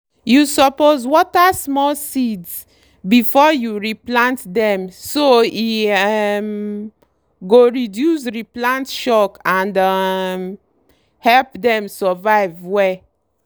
you suppose water small seeds before you re plant dem so e um go reduce re plant shock and um help dem survive well.